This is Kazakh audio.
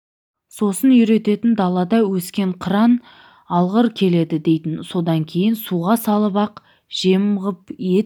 сосын үйрететін далада өскен қыран алғыр келеді дейтін содан кейін суға салып ақ жем ғып ет